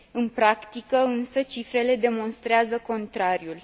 În practică însă, cifrele demonstrează contrariul.